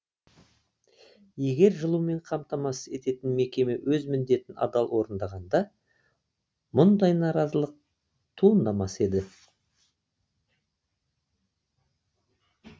егер жылумен қамтамасыз ететін мекеме өз міндетін адал орындағанда мұндай наразылық туындамас еді